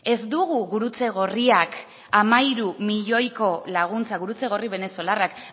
ez dugu gurutze gorriak hamairu milioiko laguntza gurutze gorri venezolarrak